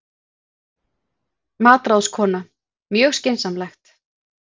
MATRÁÐSKONA: Mjög skynsamlegt.